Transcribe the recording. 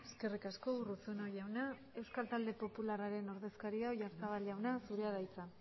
eskerrik asko urruzuno jauna euskal talde popularraren ordezkaria oyarzabal jauna zurea da hitza